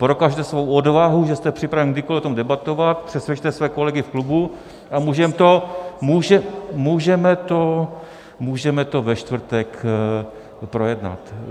Prokažte svou odvahu, že jste připraven kdykoli o tom debatovat, přesvědčte své kolegy v klubu a můžeme to ve čtvrtek projednat.